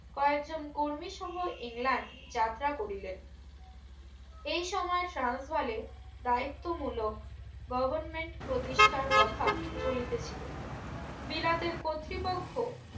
কয়েক জন কর্মী সহ ইংল্যান্ড যাত্রা করিলেন এই সময় সান্স বালে দায়িত্ব মূলক government প্রতিষ্ঠার কথা চলিতেছিলো বিলাতের কর্তৃপক্ষ